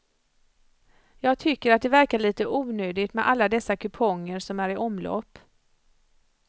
Jag tycker att det verkar lite onödigt med alla dessa kuponger som är i omlopp.